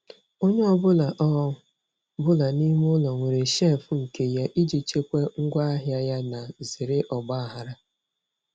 Onye ọ bụla ọ bụla n'ime ụlọ nwere shelf nke ya iji chekwaa ngwa ahịa yana zere ọgba aghara.